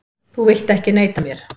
Þú vilt ekki neita mér.